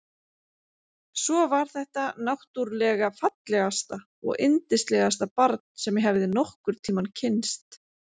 Svo var þetta náttúrlega fallegasta og yndislegasta barn sem ég hafði nokkurn tímann kynnst.